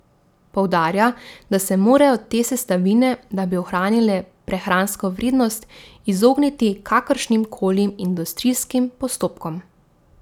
Poudarja, da se morajo te sestavine, da bi ohranile prehransko vrednost, izogniti kakršnim koli industrijskim postopkom.